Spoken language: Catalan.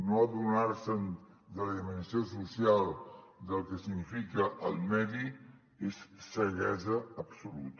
no adonar se’n de la dimensió social del que significa el medi és ceguesa absoluta